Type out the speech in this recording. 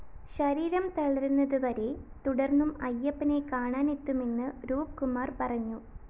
ശരീരം തളരുന്നതുവരെ തുടര്‍ന്നും അയ്യപ്പനെ കാണാനെത്തുമെന്ന്‌ രൂപ്കുമാര്‍ പറഞ്ഞു